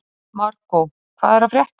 Markó, hvað er að frétta?